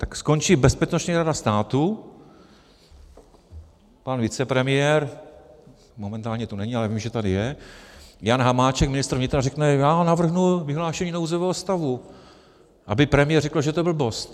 Tak skončí Bezpečnostní rada státu, pan vicepremiér - momentálně tu není, ale vím, že tady je - Jan Hamáček, ministr vnitra, řekne "já navrhnu vyhlášení nouzového stavu", aby premiér řekl, že je to blbost.